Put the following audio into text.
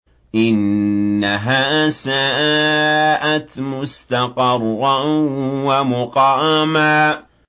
إِنَّهَا سَاءَتْ مُسْتَقَرًّا وَمُقَامًا